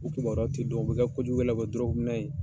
U kibaruyaw tɛ dɔn u bɛ kɛ kojugukɛlaw ye u bɛ kɛ ye.